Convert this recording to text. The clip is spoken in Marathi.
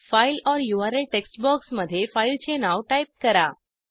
फाइल ओर यूआरएल टेक्स्ट बॉक्समध्ये फाईलचे नाव टाईप करा